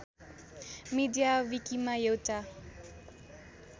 media विकिमा एउटा